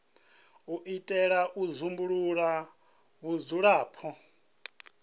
u itela u dzumbulula vhudzulapo